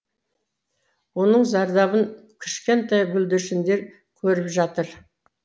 оның зардабын кішкентай бүлдіршіндер көріп жатыр